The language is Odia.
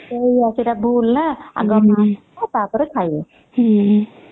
ହଁ ସେଇଟା ପୁଅର ଭୁଲ ନା ଆଗ ମା କୁ ଦବ ଟା ପରେ ଖାଇବ